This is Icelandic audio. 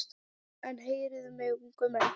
En heyrið mig ungu menn.